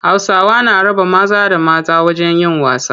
Hausawa na raba maza da mata wajen yin wasa.